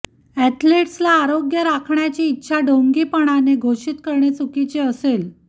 एथलीट्सला आरोग्य राखण्याची इच्छा ढोंगीपणाने घोषित करणे चुकीचे असेल